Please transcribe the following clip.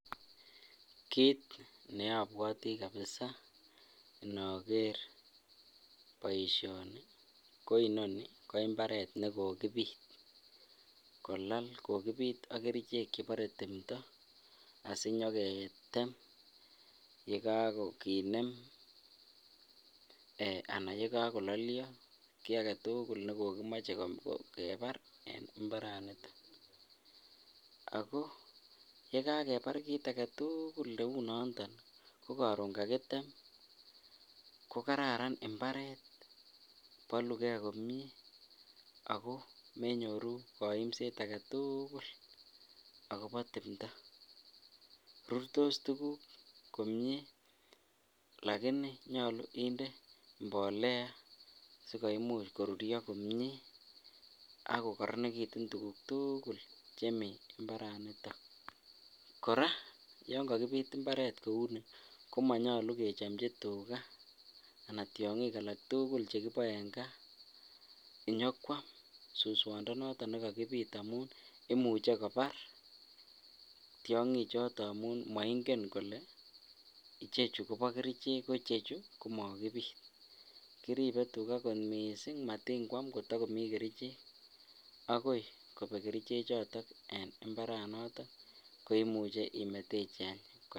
Kiit nekobwoti kabisaa inoker boishoni ko inoni ko imbaret nekokibit kolal kokibit ak kerichek chebore timto asinyoketem yekakinet eeh anan yekokololio kii aketukul nekokimoche kebar en imbaraniton ak ko yekakebar kiit aketukul neunoton ko koron kakitem ko kararan imbaret, bolukee komnye ak ko menyoru koimset aketukul akobo timndo, rurtos tukuk komie lakini nyolu inde mbolea sikoimuch koruryo komie ak kokoronekitun tukuk tukul chemii imbaraniton, kora yoon kokibit imbaret kouni komonyolu kechomji tukaa alaa tiong'ik alak tukul chekiboe en kaa inyokwam suswondo noton nekokibit amun imuche kobar tiong'i choton amun moing'en kolee ichechu Kobo kerichek ko chechu ko mokibit, kiribe tuka kot mising matingwam kotokomi kerichek akoi kobek keriche choton en imbaranoton koimuche imetechi any.